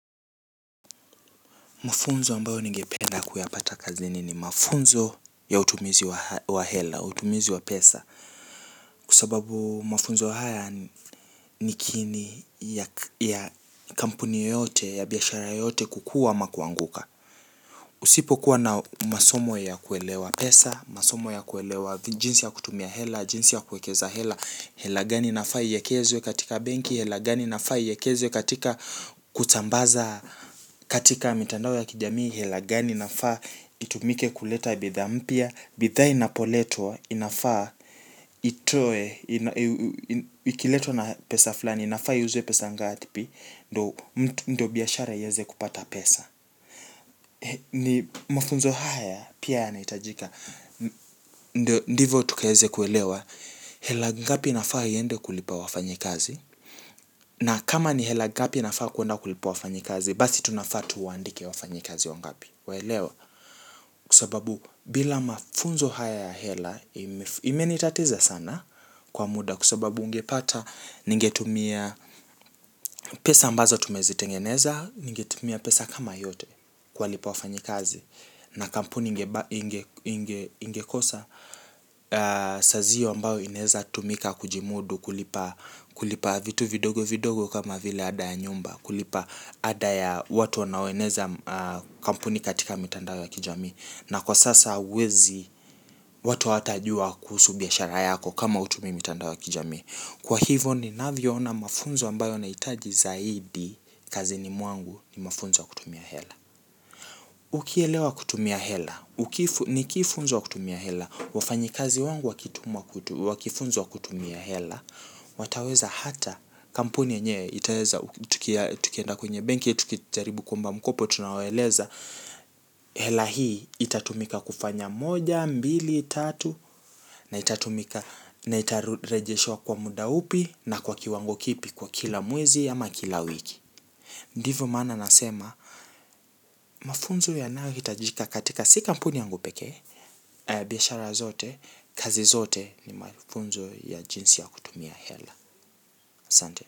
Mafunzo ambayo ningependa kuyapata kazini ni mafunzo ya utumizi wa hela, utumizi wa pesa. Kwa sababu mafunzo haya, ni kiini ya kampuni yote, ya biashara yote kukua ama kuanguka. Usipo kuwa na masomo ya kuelewa pesa, masomo ya kuelewa jinsi ya kutumia hela, jinsi ya kuekeza hela. Hela gani inafaa iyekezwe katika benki, hela gani inafaa iyekezwe katika kutambaza katika mitandao ya kijamii, helagani inafaa itumike kuleta bidhaa mpya. Bidhaa inapoletwa, inafaa, itoe. Ikiletwa na pesa fulani inafaa iuzwe pesa ngatpi? Ndo biashara iyeze kupata pesa. Ni mafunzo haya, pia yanaitajika. Ndio ndivo tukaeze kuelewa, hela ngapi nafaa iende kulipa wafanye kazi? Na kama ni hela gapi nafaa kuenda kulipa wafanyi kazi? Basi tunafaa tuwandike wafanye kazi wangapi? Waelewa? Kwa sababu bila mafunzo haya ya hela, imenitatiza sana, kwa muda kwa sababu ungepata ningetumia, pesa ambazo tumezitengeneza, ningetumia pesa kama yote. Kuwa lipa wafanyi kazi. Na kampuni ingekosa, sazio ambayo inaeza tumika kujimudu kulipa. Kulipa vitu vidogo vidogo kama vile ada ya nyumba. Kulipa ada ya watu wanaoeneza kampuni katika mitandao ya kijamii. Na kwa sasa huwezi. Watu hawatajua kuhusu biashara yako, kama hutumii mitandao ya kijamii. Kwa hivyo ninavyo ona mafunzo ambayo naitaji zaidi, kazini mwangu, ni mafunzo ya kutumia hela. Ukielewa kutumia hela, ni kifunzo wa kutumia hela. Wafanyikazi wangu wakitumwa kwa kifunzo wa kutumia hela, wataweza hata kampuni yenye itaweza tukienda kwenye benki, tukijaribu kuomba mkopo tunawaeleza, hela hii itatumika kufanya moja, mbili, tatu na itatumika, na itarejeshwa kwa muda upi na kwa kiwango kipi kwa kila mwezi ama kila wiki. Ndivyo maana nasema, mafunzo yanayohitajika katika si kampuni yangu pekee, biashara zote, kazi zote. Ni mafunzo ya jinsi ya kutumia hela. Asante.